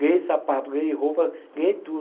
Ganhei sapato, ganhei roupa, ganhei tudo.